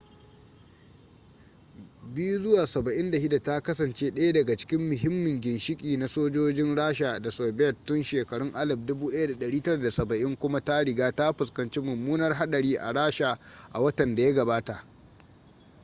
il-76 ta kasance daya daga cikin muhimmin ginshiki na sojojin rasha da soviet tun shekarun 1970 kuma ta riga ta fuskanci mummunar hadari a rasha a watan da ya gabata